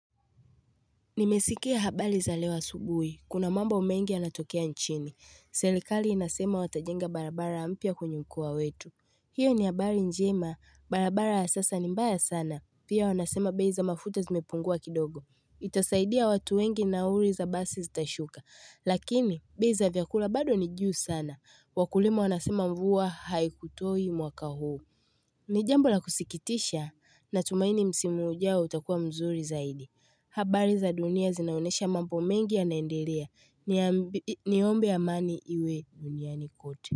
Nimesikia habali za leo asubuhi. Kuna mambo mengi yanatokea nchini. Serikali inasema watajenga barabara mpya kwenye mkoa wetu. Hiyo ni habari njema. Barabara ya sasa ni mbaya sana. Pia wanasema bei za mafuta zimepungua kidogo. Itasaidia watu wengi nauli za basi zitashuka. Lakini bei za vyakula bado nijuu sana. Wakulima wanasema mvua haikutoi mwaka huu. Nijambo la kusikitisha na tumaini msimu ujao utakua mzuri zaidi habari za dunia zinaonesha mambo mengi yanaendelea niombe amani iwe duniani kwote.